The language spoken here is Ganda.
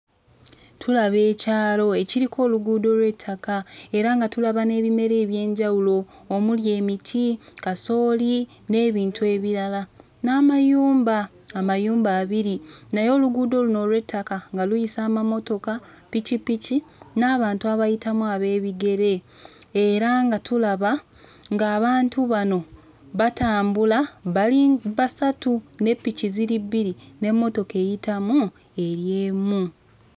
Tulaba ekyalo ekiriko oluguudo lw'ettaka era nga tulaba n'ebimera eby'enjawulo omuli emiti, kasooli n'ebintu ebirala n'amayumba, amayumba abiri naye oluguudo luno olw'ettaka nga luyisa amamotoka, pikipiki n'abantu abayitamu ab'ebigere era nga tulaba ng'abantu bano batambula bali basatu ne piki ziri bbiri, n'emmotoka eyitamu eri emu.